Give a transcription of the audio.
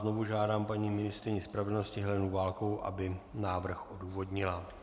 Znovu žádám paní ministryni spravedlnosti Helenu Válkovou, aby návrh odůvodnila.